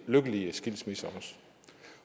lykkelige skilsmisser